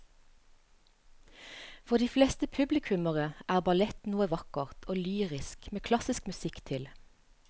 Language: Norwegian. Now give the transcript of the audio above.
For de fleste publikummere er ballett noe vakkert og lyrisk med klassisk musikk til.